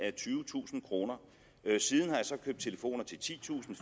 af tyvetusind kroner siden har jeg så købt telefoner til titusind